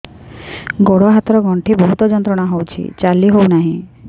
ଗୋଡ଼ ହାତ ର ଗଣ୍ଠି ବହୁତ ଯନ୍ତ୍ରଣା ହଉଛି ଚାଲି ହଉନାହିଁ